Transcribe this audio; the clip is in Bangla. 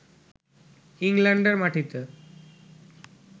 ইংল্যান্ডের মাটিতে